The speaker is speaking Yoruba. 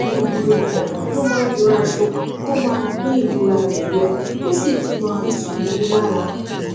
gbogbo ìgbà ló máa ń yan aṣọ tó máa gbé ìmúra rẹ yọ tó sì tú máa tù ú lára